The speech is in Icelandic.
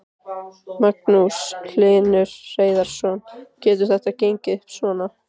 Magnús Hlynur Hreiðarsson: Getur þetta gengið upp svona?